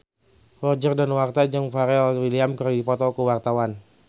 Roger Danuarta jeung Pharrell Williams keur dipoto ku wartawan